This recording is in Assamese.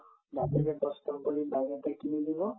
বাপেকে কষ্ট কৰি bike এটা কিনি দিব